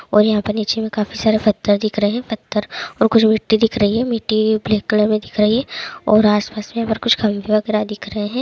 और यहाँ पे नीचे काफी सारे पत्थर दिख रहे है पत्थर और कुछ मिट्टी दिख रही है मिट्टी ब्लैक कलर में दिख रही हैऔर आसपास में कुछ खाबी वगैरा दिख रहे है।